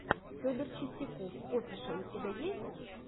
федор чистяков офишал у тебя есть